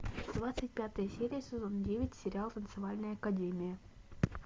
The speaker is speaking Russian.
двадцать пятая серия сезон девять сериал танцевальная академия